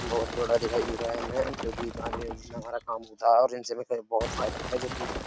बहोत बड़ा दिखाई दे रहा है। जो कि हमारा काम होता है और जिन से हमें बहोत फायदा है। जो कि --